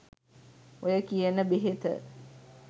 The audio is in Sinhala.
ඔය කියන බෙහෙත